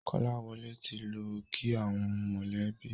Kolawole tí lọ kí àwọn mọ lẹ bí.